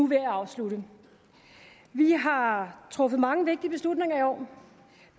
ved at afslutte vi har truffet mange vigtige beslutninger i år